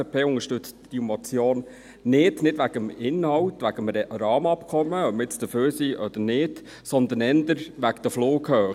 Die FDP unterstützt diese Motion nicht, nicht wegen des Inhalts betreffend das Rahmenabkommen, ob wir nun dafür sind oder nicht, sondern eher wegen der Flughöhe.